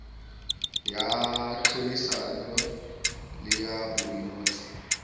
ya tlhodisano le ya boinotshi